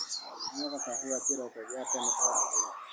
Nyuaga kahũa kĩroko gia tene o mũthenya.